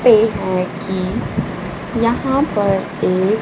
ये हैं कि यहां पर एक--